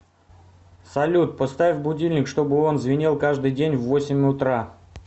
салют поставь будильник чтобы он звенел каждый день в восемь утра